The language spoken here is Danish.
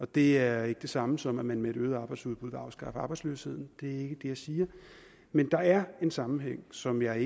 det er ikke det samme som at man med et øget arbejdsudbud kan afskaffe arbejdsløsheden det jeg siger men der er en sammenhæng som jeg